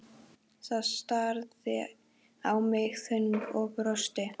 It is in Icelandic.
Það starði á mig í þögn og brosti.